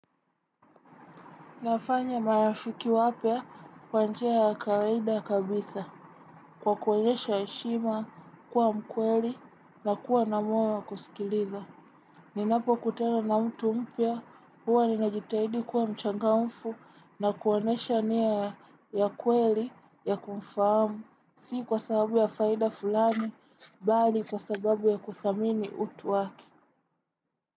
Nafanya marafiki wapya kwa njia ya kawaida kabisa kwa kuonesha heshima, kuwa mkweli na kuwa na moyo wa kusikiliza. Ninapo kutena na mtu mpya huwa ni najitahidi kuwa mchangamfu na kuonesha niya ya kweli ya kumfahamu. Si kwa sababu ya faida fulani, bali kwa sababu ya kuthamini utu waki.